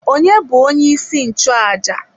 Onye bu onye isi nchụaja?